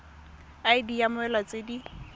id ya mmoelwa tse di